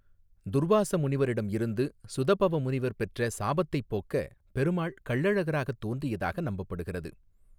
துர்வாச முனிவரிடமிருந்து சுதபவ முனிவர் பெற்ற சாபத்தைப் போக்க பெருமாள் கள்ளழகராகத் தோன்றியதாக நம்பப்படுகிறது.